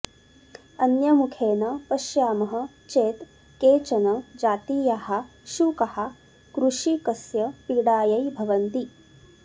अन्यमुखेन पश्यामः चेत् केचन जातीयाः शुकाः कृषिकस्य पीडायै भवन्ति